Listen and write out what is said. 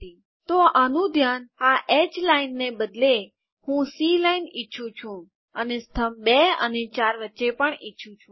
તો આનું ધ્યાન આ એચ લાઈનને બદલે હું સી લાઈન ઈચ્છું છું અને સ્તંભ ૨ અને ૪ વચ્ચે પણ ઈચ્છું છું